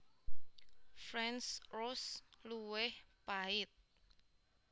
French Roast luwih pahit